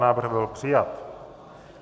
Návrh byl přijat.